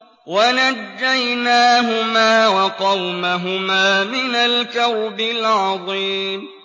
وَنَجَّيْنَاهُمَا وَقَوْمَهُمَا مِنَ الْكَرْبِ الْعَظِيمِ